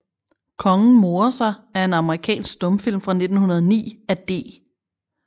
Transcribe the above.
Kongen morer sig er en amerikansk stumfilm fra 1909 af D